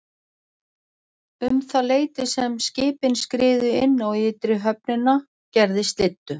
Um það leyti sem skipin skriðu inn á ytri höfnina gerði slyddu.